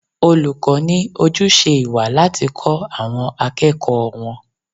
Olùkọ́ ní ojúṣe ìwà láti kọ́ àwọn akẹ́kọ̀ọ́ wọn.